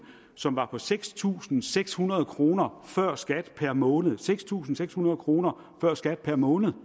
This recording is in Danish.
som var på seks tusind seks hundrede kroner før skat per måned seks tusind seks hundrede kroner før skat per måned